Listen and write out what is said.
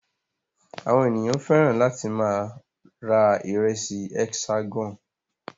Àwọn ènìyàn fẹ́ràn láti máa ra ìrẹsì Hexagon.